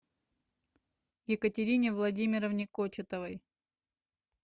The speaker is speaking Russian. екатерине владимировне кочетовой